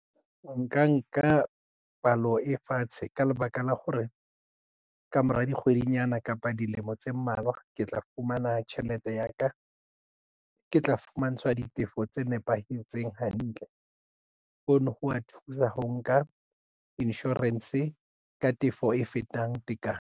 Nka nka palo e fatshe ka lebaka la hore ka mora dikgwedinyana kapa dilemo tse mmalwa ke tla fumana tjhelete ya ka ke tla fumantshwa ditefo tse nepahetseng hantle. Hono ho wa thusa ho nka insurance ka tefo e fetang tekano.